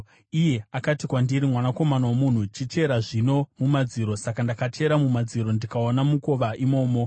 Iye akati kwandiri, “Mwanakomana womunhu, chichera zvino mumadziro.” Saka ndakachera mumadziro ndikaona mukova imomo.